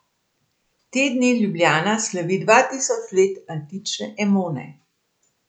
Te dni Ljubljana slavi dva tisoč let antične Emone.